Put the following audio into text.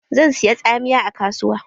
Zan siya tsamiya a kasuwa.